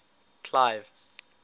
clive